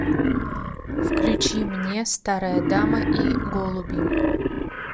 включи мне старая дама и голуби